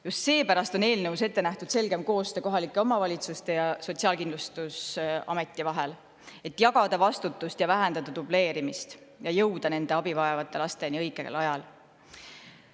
Just seepärast on eelnõus ette nähtud selgem koostöö kohalike omavalitsuste ja Sotsiaalkindlustusameti vahel, et jagada vastutust ja vähendada dubleerimist ning jõuda abivajavate lasteni õigel ajal.